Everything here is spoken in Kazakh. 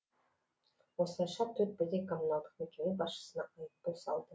осылайша төрт бірдей коммуналдық мекеме басшысына айыппұл салды